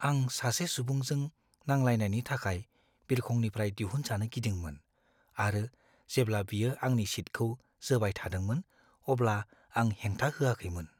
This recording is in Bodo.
आं सासे सुबुंजों नांलायनायनि थाखाय बिरखंनिफ्राय दिहुनजानो गिदोंमोन आरो जेब्ला बियो आंनि सिटखौ जोबायथादोंमोन अब्ला आं हेंथा होआखैमोन।